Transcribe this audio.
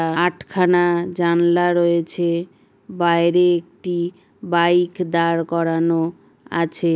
আহ আটখানা জানলা রয়েছে। বাইরে একটি বাইক দাঁড় করানো আছে।